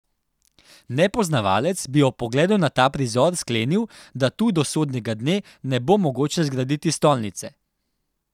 Nepoznavalec bi ob pogledu na ta prizor sklenil, da tu do sodnega dne ne bo mogoče zgraditi stolnice.